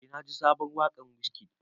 Eh na ji sabon waƙar Wizkid.